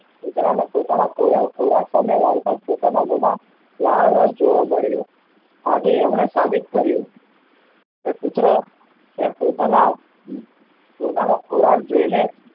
કુતરા ના પોતાના ખોરાક સામે લાવતા પોતાના મોમાં લાળરસ જોવા મળ્યો આજે એમને સાબિત કર્યું કે કુતરો પોતાના પોતાનો ખોરાક જોઈ ને